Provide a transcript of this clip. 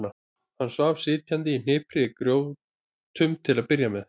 Hann svaf sitjandi í hnipri í gjótum til að byrja með.